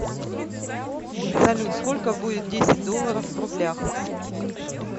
салют сколько будет десять долларов в рублях